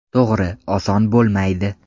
To‘g‘ri, oson bo‘lmaydi.